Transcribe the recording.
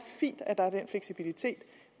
fint at der er den fleksibilitet